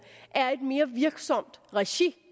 er et mere virksomt regi